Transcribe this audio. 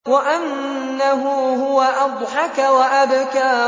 وَأَنَّهُ هُوَ أَضْحَكَ وَأَبْكَىٰ